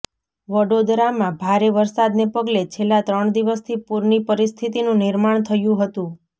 વડોદરામાં ભારે વરસાદને પગલે છેલ્લા ત્રણ દિવસથી પૂરની પરિસ્થિતિનું નિર્માણ થયું હતું